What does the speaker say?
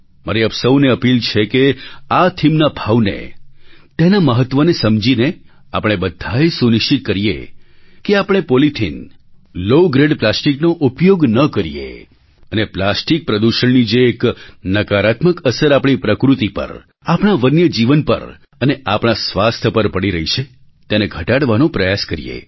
મારી આપ સહુને અપીલ છે કે આ થીમના ભાવને તેના મહત્ત્વને સમજીને આપણે બધા એ સુનિશ્ચિત કરીએ કે આપણે પૉલિથિન લૉ ગ્રેડ પ્લાસ્ટિકનો ઉપયોગ ન કરીએ અને પ્લાસ્ટિક પ્રદૂષણની જે એક નકારાત્મક અસર આપણી પ્રકૃત્તિ પર આપણા વન્ય જીવન પર અને આપણા સ્વાસ્થ્ય પર પડી રહી છે તેને ઘટાડવાનો પ્રયાસ કરીએ